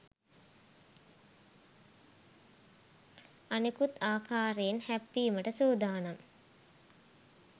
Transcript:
අනෙකුත් ආකාරයෙන් හැප්පීමට සූදානම්